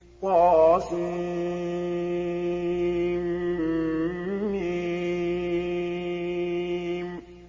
طسم